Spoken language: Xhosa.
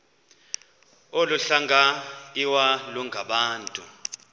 olu hlanga iwalungabantu